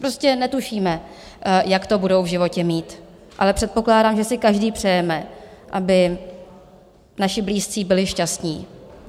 Prostě netušíme, jak to budou v životě mít, ale předpokládám, že si každý přejeme, aby naši blízcí byli šťastní.